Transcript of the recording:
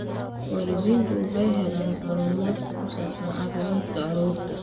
Waalidiintu waxay helaan macluumaadka ku saabsan caafimaadka carruurta.